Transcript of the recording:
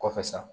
Kɔfɛ sa